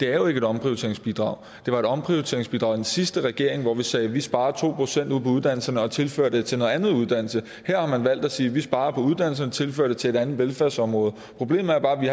er et omprioriteringsbidrag det var et omprioriteringsbidrag i den sidste regering hvor vi sagde vi sparer to procent ude på uddannelserne og tilfører det til noget andet uddannelse her har man valgt at sige vi sparer på uddannelserne og tilfører det til et andet velfærdsområde problemet er bare at vi